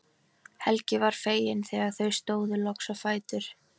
Helgi var feginn þegar þau stóðu loks á fætur.